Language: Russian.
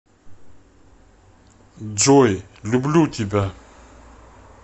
джой люблю тебя